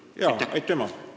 Jaa, aitüma!